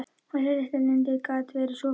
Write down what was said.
Þessi litli rindill gat verið svo falskur.